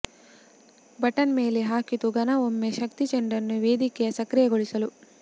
button ಮೇಲೆ ಹಾಕಿತು ಘನ ಒಮ್ಮೆ ಶಕ್ತಿ ಚೆಂಡನ್ನು ವೇದಿಕೆಯ ಸಕ್ರಿಯಗೊಳಿಸಲು